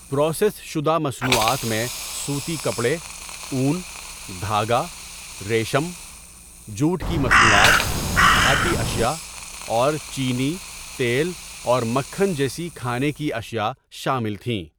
Process شدہ مصنوعات میں سوتی کپڑے، اون، دھاگا، ریشم، جوٹ کی مصنوعات، دھاتی اشیا، اور چینی، تیل اور مکھن جیسی کھانے کی اشیا شامل تھیں۔